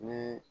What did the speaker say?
Ni